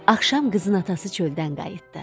Axşam qızın atası çöldən qayıtdı.